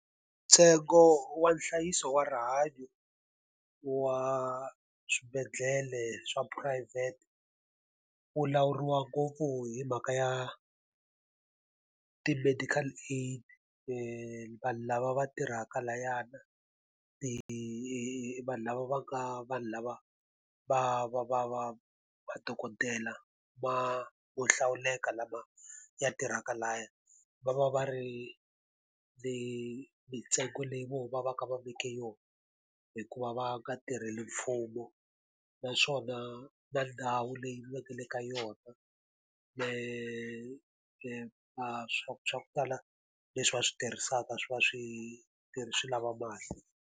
Ntsengo wa nhlayiso wa rihanyo wa swibedhlele swa phurayivhete, wu lawuriwa ngopfu hi mhaka ya ti-medical aid, vanhu lava va tirhaka layana, vanhu lava va ka vanhu lava va va va va madokodela ma mo hlawuleka lama ya tirhaka lahaya. Va va va ri mintsengo leyi vo va va ka va veke yona hikuva va nga tirheli mfumo. Naswona na ndhawu leyi va ka yona swa ku swa ku tala leswi va swi tirhisaka swi va swi swi lava mali.